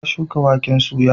Ta shuka waken soya.